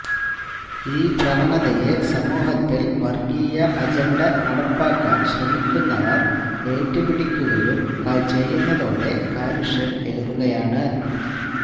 ഈ പ്രവണതയെ സമൂഹത്തിൽ വർഗീയ അജണ്ട നടപ്പാക്കാൻ ശ്രമിക്കുന്നവർ എറ്റു പിടിക്കുകയും ചെയ്യുന്നതോടെ കാലുഷ്യം ഏറുകയാണ്